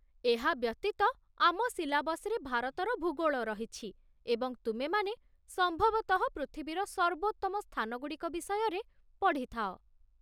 ଏହା ବ୍ୟତୀତ, ଆମ ସିଲାବସ୍‌ରେ ଭାରତର ଭୂଗୋଳ ରହିଛି, ଏବଂ ତୁମେମାନେ ସମ୍ଭବତଃ ପୃଥିବୀର ସର୍ବୋତ୍ତମ ସ୍ଥାନଗୁଡ଼ିକ ବିଷୟରେ ପଢ଼ିଥାଅ!